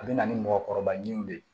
A bɛ na ni mɔgɔkɔrɔba ɲininiw de ye